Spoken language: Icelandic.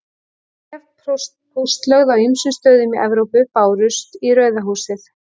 Bréf póstlögð á ýmsum stöðum í Evrópu bárust í Rauða húsið.